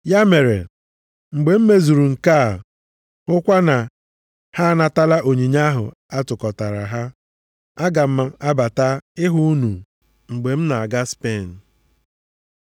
Ya mere, mgbe m mezuru nke a, hụkwa na ha anatala onyinye ahụ a tụkọtara ha, aga m abata ịhụ unu mgbe m na-aga Spen.